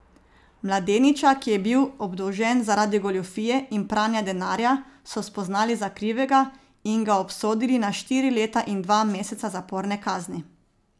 Mladeniča, ki je bil obdolžen zaradi goljufije in pranja denarja, so spoznali za krivega in ga obsodili na štiri leta in dva meseca zaporne kazni.